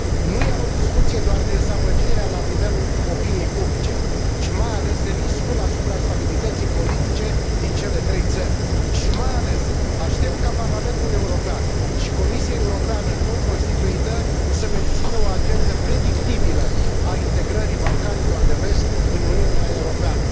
Nu iau în discuție doar dezamăgirea la nivelul opiniei publice, ci mai ales riscul asupra stabilității politice din cele trei țări și, mai ales, aștept ca Parlamentul European și Comisia Europeană nou constituită să mențină o agendă predictibilă a integrării Balcanilor de Vest în Uniunea Europeană.